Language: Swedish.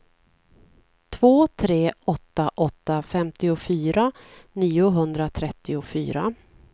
två tre åtta åtta femtiofyra niohundratrettiofyra